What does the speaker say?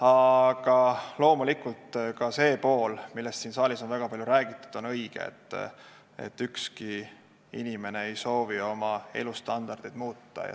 Aga loomulikult on õige ka see pool, millest siin saalis on väga palju räägitud, et ükski inimene ei soovi oma elustandardit muuta.